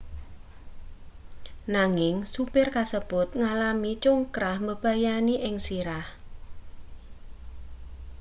nanging supir kasebut ngalami congkrah mbebayani ing sirah